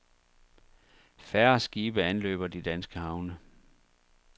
Færre skibe anløber de danske havne.